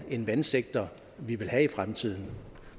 en vandsektor vi vil have i fremtiden